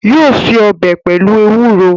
Yóò se ọbẹ pelu ewuro